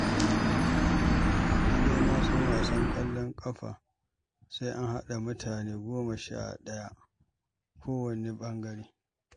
Ni dai na san wasan ƙwallon ƙafa sai an haɗa mutane goma sha ɗaya kowanne ɓangare